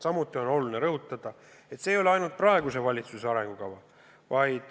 Samuti on oluline rõhutada, et see ei ole ainult praeguse valitsuse arengukava.